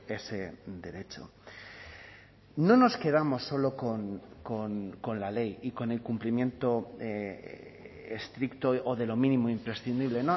ese derecho no nos quedamos solo con la ley y con el cumplimiento estricto o de lo mínimo imprescindible